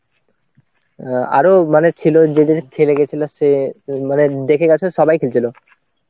অ্যাঁ আরো মানে ছিল যে যে খেলে গেছিল সে মানে দেখে গেছো সবাই খেলছিল.